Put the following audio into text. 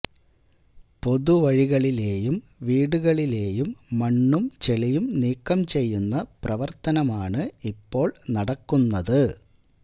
പൊതുവഴികളിലേയും വീടുകളിലേയും മണ്ണും ചെളിയും നീക്കം ചെയ്യുന്ന പ്രവര്ത്തനമാണ് ഇപ്പോള് നടക്കുന്നത്